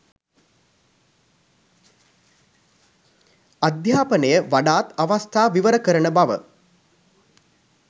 අධ්‍යාපනය වඩාත් අවස්ථා විවර කරන බව